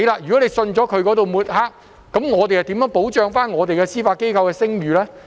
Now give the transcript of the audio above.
如果公眾相信他的抹黑，我們如何保障我們司法機構的聲譽呢？